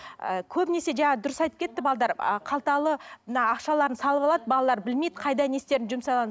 ы көбінесе жаңағы дұрыс айтып кетті қалталы мына ақшаларын салып алады балалар білмейді қайда не істерін